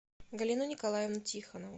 галину николаевну тихонову